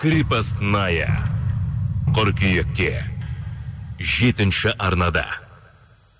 крепостная қыркүйекте жетінші арнада